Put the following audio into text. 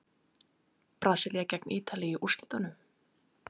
Brasilía gegn Ítalíu í úrslitunum?